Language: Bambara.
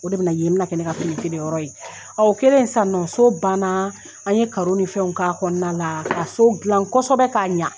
O de bɛ na kɛ yen bɛ na kɛ ne ka fini feere yɔrɔ ye o kɛlen sisan nɔ so ban na an ye ni fɛnw k'a kɔnɔna la ka so gilan kosɛbɛ k'a ɲa.